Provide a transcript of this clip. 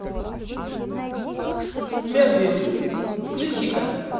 мебиус включи ка